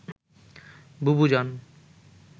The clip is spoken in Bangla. বুবু জান